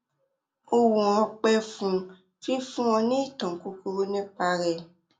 ọwọn ọpẹ fún fífún ọ ní ìtàn kúkúrú nípa rẹ